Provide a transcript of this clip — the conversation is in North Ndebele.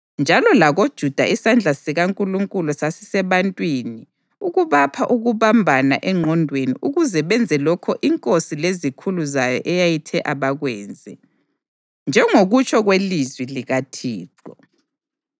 Njalo lakoJuda isandla sikaNkulunkulu sasisebantwini ukubapha ukubambana engqondweni ukuze benze lokho inkosi lezikhulu zayo eyayithe abakwenze, njengokutsho kwelizwi likaThixo.